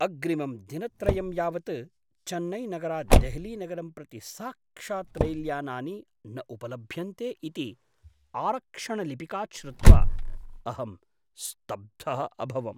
अग्रिमं दिनत्रयं यावत् चेन्नैनगरात् देहलीनगरं प्रति साक्षात् रैल्यानानि न उपलभ्यन्ते इति आरक्षणलिपिकात् श्रुत्वा अहं स्तब्धः अभवम्।